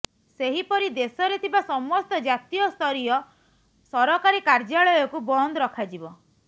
ସେହିପରି ଦେଶରେ ଥିବା ସମସ୍ତ ଜାତୀୟସ୍ତରୀୟ ସରକାରୀ କାର୍ଯ୍ୟାଳୟକୁ ବନ୍ଦ ରଖାଯିବ